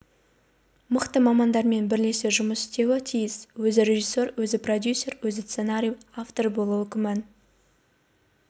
мықты мамандармен бірлесе жұмыс істеуі тиіс өзі режиссер өзі продюсер өзі сценарий авторы болуы күмән